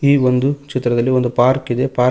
ಈ ಒಂದು ಚಿತ್ರದಲ್ಲಿ ಒಂದು ಪಾರ್ಕ್ ಇದೆ ಪಾರ್ಕ್ --